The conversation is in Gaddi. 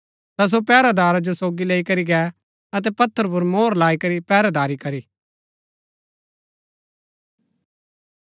ता सो पैहरैदार जो सोगी लैई करी गै अतै पत्थर पुर मोहर लाई करी पैहरैदारी करी